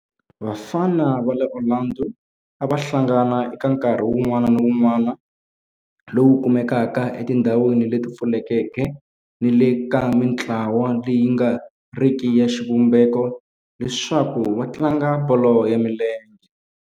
Vafana va le Orlando a va hlangana eka nkarhi wun'wana ni wun'wana lowu kumekaka etindhawini leti pfulekeke ni le ka mintlawa leyi nga riki ya xivumbeko leswaku va tlanga bolo ya milenge.